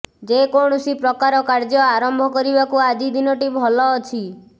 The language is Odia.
ଯେକୌଣସି ପ୍ରକାର କାର୍ଯ୍ୟ ଆରମ୍ଭ କରିବାକୁ ଆଜି ଦିନଟି ଭଲ ଅଛି